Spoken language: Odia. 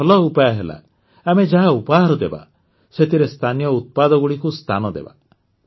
ଗୋଟିଏ ଭଲ ଉପାୟ ହେଲା ଆମେ ଯାହା ଉପହାର ଦେବା ସେଥିରେ ସ୍ଥାନୀୟ ଉତ୍ପାଦଗୁଡ଼ିକୁ ସ୍ଥାନ ଦେବା